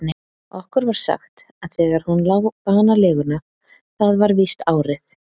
Okkur var sagt, að þegar hún lá banaleguna, það var víst árið